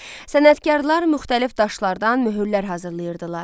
Sənətkarlar müxtəlif daşlardan möhürlər hazırlayırdılar.